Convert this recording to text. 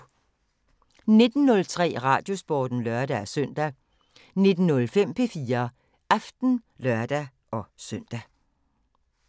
19:03: Radiosporten (lør-søn) 19:05: P4 Aften (lør-søn)